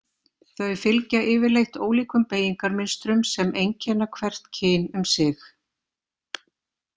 Þau fylgja yfirleitt ólíkum beygingarmynstrum sem einkenna hvert kyn um sig.